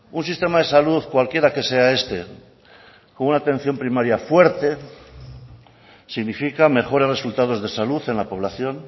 un sistema de salud cualquiera que sea este con una atención primaria fuerte significa mejores resultados de salud en la población